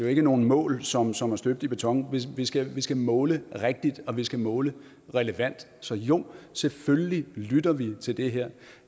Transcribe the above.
ikke nogen mål som som er støbt i beton vi skal skal måle rigtigt og vi skal måle relevant så jo selvfølgelig lytter vi til det her